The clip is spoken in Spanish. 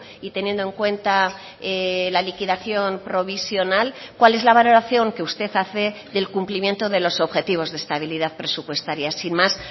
y teniendo en cuenta la liquidación provisional cuál es la valoración que usted hace del cumplimiento de los objetivos de estabilidad presupuestaria sin más